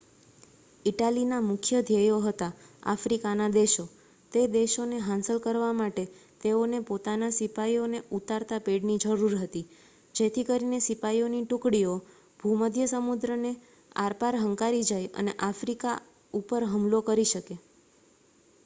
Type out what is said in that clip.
ઇટાલીના મુખ્ય ધ્યેયો હતા આફ્રિકાના દેશો તે દેશોને હાંસલ કરવા માટે તેઓને સિપાઈઓને ઉતારતા પેડની જરૂર હતી જેથી કરીને સિપાઈઓની ટુકડીઓ ભૂમધ્ય સમુદ્રને આરપાર હંકારી જાય અને આફ્રિકા ઉપર હુમલો કરી શકે